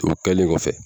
O kɛlen kɔfɛ